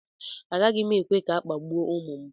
Agaghị m ekwe ka a kpagbuo ụmụ m